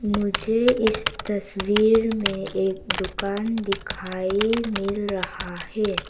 मुझे इस तस्वीर में एक दुकान दिखाई मिल रहा है।